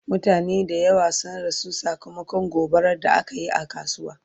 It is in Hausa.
mutane da yawa sun rasu sakamakon gobarar da akayi a kasuwa